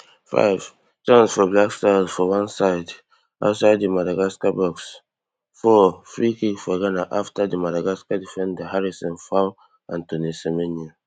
fivechance for blackstars for one side outside di madagascar box fourfreekick for ghana afta di madagascar defender harrison foul antoine semenyo